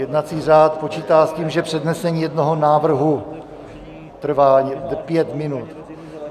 Jednací řád počítá s tím, že přednesení jednoho návrhu trvá pět minut.